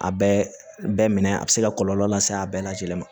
A bɛɛ minɛ a bɛ se ka kɔlɔlɔ lase a bɛɛ lajɛlen ma